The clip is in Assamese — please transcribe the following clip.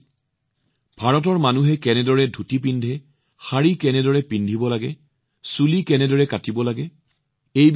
তেওঁক কোৱা হৈছিল যে ভাৰতৰ মানুহে কেনেদৰে ধুতি পিন্ধে শাৰী কেনেদৰে পিন্ধিব লাগে চুলি কেনেদৰে বান্ধিব লাগে